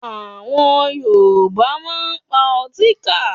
Àwọn Yorùbá máa ń pa Ọtíkà